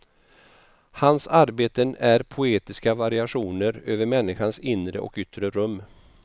Hans arbeten är poetiska variationer över människans inre och yttre rum.